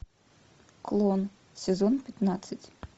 клон сезон пятнадцать